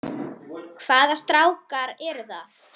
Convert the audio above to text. Hvaða strákar eru það?